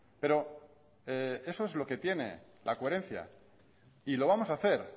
pero eso es lo que tiene la coherencia y lo vamos a hacer